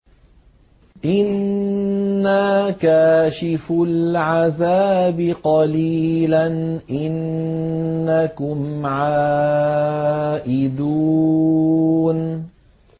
إِنَّا كَاشِفُو الْعَذَابِ قَلِيلًا ۚ إِنَّكُمْ عَائِدُونَ